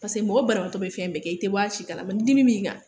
Paseke mɔgɔ banabagatɔ bɛ fɛn bɛɛ kɛ, i tɛ bɔ a si kalama, ni dimi min kan